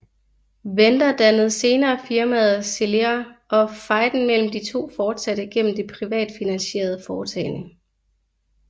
Venter dannede senere firmaet Celera og fejden mellem de to fortsatte gennem det privatfinansierede foretagende